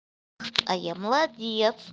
а я молодец